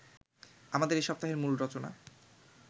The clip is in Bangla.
আমাদের এ সপ্তাহের মূল রচনা